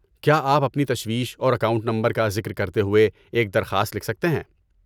کیا آپ اپنی تشویش اور اکاؤنٹ نمبر کا ذکر کرتے ہوئے ایک درخواست لکھ سکتے ہیں؟